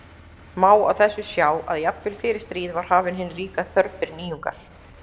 Má á þessu sjá að jafnvel fyrir stríð var hafin hin ríka þörf fyrir nýjungar.